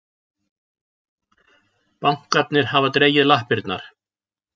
Bankarnir hafa dregið lappirnar